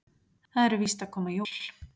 Það eru víst að koma jól.